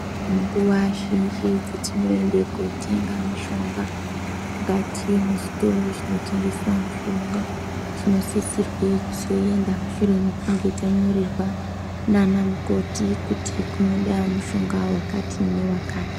Nguwa zhinji dzetinoenda kotenga mishonga mukati mezvitoro zvinotengesa mishonga tinosisirwe kuzoenda mushure mekunge tanyarorerwa naana mukoti kuti kunoda mushonga wakati newakati.